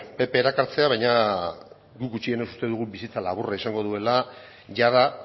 pp erakartzea baina guk gutxienez uste dugu bizitza laburra izango duela jada